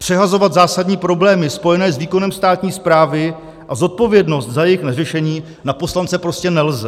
Přehazovat zásadní problémy spojené s výkonem státní správy a zodpovědnost za jejich neřešení na poslance prostě nejde.